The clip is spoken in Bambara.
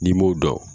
N'i m'o dɔn